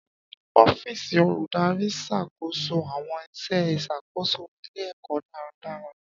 Ọ́fíìsì Olùdarí ń ṣàkóso àwọn iṣẹ́ ìṣàkóso ilé-ẹ̀kọ́ dáradára.